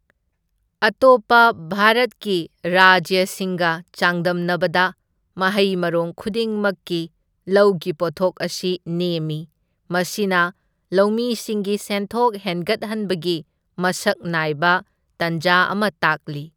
ꯑꯇꯣꯞꯄ ꯚꯥꯔꯠꯀꯤ ꯔꯥꯖ꯭ꯌꯁꯤꯡꯒ ꯆꯥꯡꯗꯝꯅꯕꯗ ꯃꯍꯩ ꯃꯔꯣꯡ ꯈꯨꯗꯤꯡ ꯃꯛꯀꯤ ꯂꯧꯒꯤ ꯄꯣꯠꯊꯣꯛ ꯑꯁꯤ ꯅꯦꯝꯃꯤ, ꯃꯁꯤꯅ ꯂꯧꯃꯤꯁꯤꯡꯒꯤ ꯁꯦꯟꯊꯣꯛ ꯍꯦꯟꯒꯠꯍꯟꯕꯒꯤ ꯃꯁꯛ ꯅꯥꯏꯕ ꯇꯥꯟꯖꯥ ꯑꯃ ꯇꯥꯛꯂꯤ꯫